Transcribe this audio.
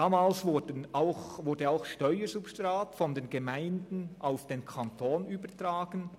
Damals wurde auch Steuersubstrat von den Gemeinden auf den Kanton übertragen.